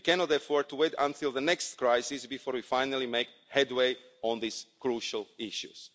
We cannot afford to wait until the next crisis before we finally make headway on these crucial issues.